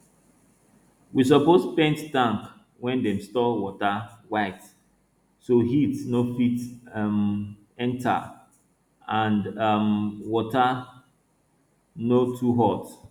we suppose paint tank wey dem store water white so heat no fit um enta and um water no too hot